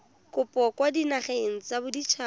kopo kwa dinageng tsa baditshaba